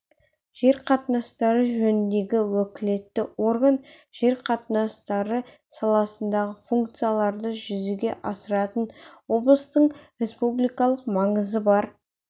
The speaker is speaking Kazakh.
жер қатынастары жөніндегі уәкілетті орган жер қатынастары саласындағы функцияларды жүзеге асыратын облыстың республикалық маңызы бар